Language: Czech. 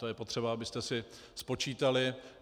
To je potřeba, abyste si spočítali.